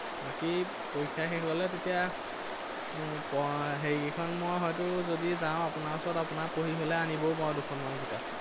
বাকী পৰীক্ষা শেষ হলে তেতিয়া এৰ হেৰি কেইখন মই হয়তো যদি যাও আপোনাৰ ওচৰত, আপনাৰ পঢ়ি হলে আনিবও পাৰো দুখনমান কিতাপ।